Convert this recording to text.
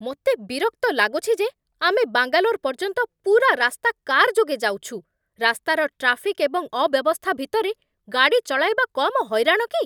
ମୋତେ ବିରକ୍ତ ଲାଗୁଛି ଯେ ଆମେ ବାଙ୍ଗାଲୋର ପର୍ଯ୍ୟନ୍ତ ପୂରା ରାସ୍ତା କାର୍ ଯୋଗେ ଯାଉଛୁ। ରାସ୍ତାର ଟ୍ରାଫିକ୍ ଏବଂ ଅବ୍ୟବସ୍ଥା ଭିତରେ ଗାଡ଼ି ଚଳାଇବା କମ୍ ହଇରାଣ କି!